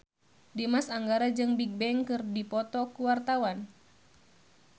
Dimas Anggara jeung Bigbang keur dipoto ku wartawan